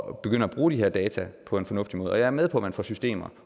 at begynde at bruge de her data på en fornuftig måde og jeg er med på at man får systemer